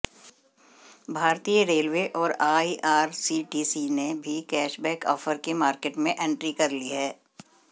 भारतीय रेलवे और आईआरसीटीसी ने भी कैशबैक ऑफर के मार्केट में एंट्री कर ली है